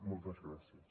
moltes gràcies